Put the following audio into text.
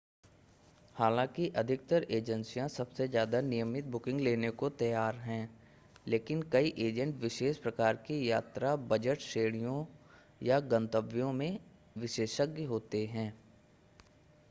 हालाँकि अधिकतर एजेंसियाँ ​​सबसे ज़्यादा नियमित बुकिंग लेने को तैयार हैं लेकिन कई एजेंट विशेष प्रकार की यात्रा बजट श्रेणियों या गंतव्यों के विशेषज्ञ होते हैं